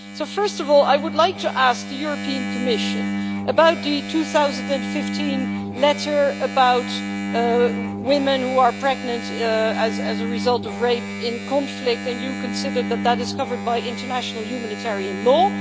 First of all, I would like to ask the European Commission about the 2015 letter about women who are pregnant as a result of rape in conflict, and you consider that that is covered by international humanitarian law.